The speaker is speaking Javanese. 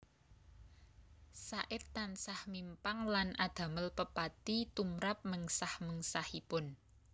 Said tansah mimpang lan adamel pepati tumrap mengsah mengsahipun